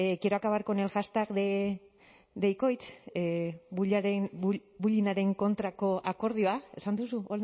quiero acabar con el hashtag de ikoitz esan duzu